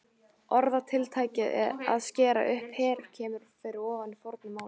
Orðatiltækið að skera upp herör kemur fyrir í fornu máli.